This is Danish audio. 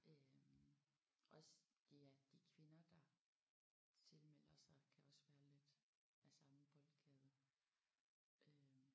Øh også de er de kvinder der tilmelder sig kan også være lidt af samme boldgade øh